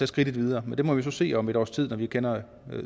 skridtet videre men det må vi så se om et års tid når vi kender